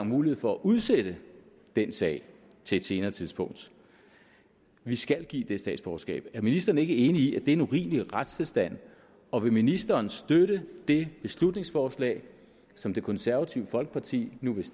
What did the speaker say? mulighed for at udsætte den sag til et senere tidspunkt vi skal give det statsborgerskab er ministeren ikke enig i at det er en urimelig retstilstand og vil ministeren støtte det beslutningsforslag som det konservative folkeparti nu vil